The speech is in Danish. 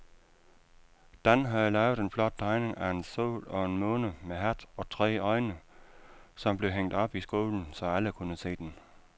Dan havde lavet en flot tegning af en sol og en måne med hat og tre øjne, som blev hængt op i skolen, så alle kunne se den.